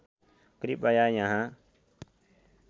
कृपया यहाँ